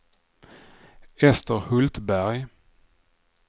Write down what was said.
Ester Hultberg